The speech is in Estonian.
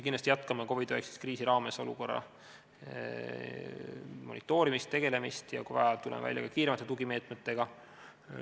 Kindlasti jätkame ka COVID-19 kriisi raames olukorra monitoorimist, sellega tegelemist, ja kui vaja, tuleme välja kiiremate tugimeetmetega.